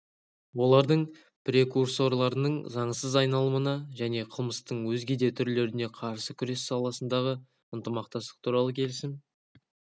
олардың прекурсорларының заңсыз айналымына және қылмыстың өзге де түрлеріне қарсы күрес саласындағы ынтымақтастық туралы келісім